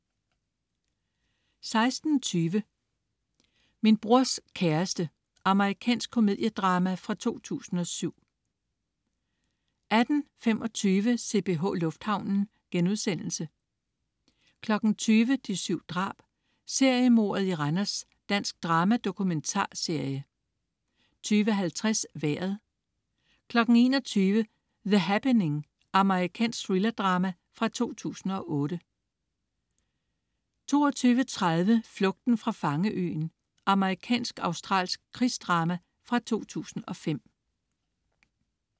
16.20 Min brors kæreste. Amerikansk komediedrama fra 2007 18.25 CPH Lufthavnen* 20.00 De 7 drab. Seriemordet i Randers. Dansk drama-dokumentarserie 20.50 Vejret 21.00 The Happening. Amerikansk thriller-drama fra 2008 22.30 Flugten fra fangeøen. Amerikansk-australsk krigsdrama fra 2005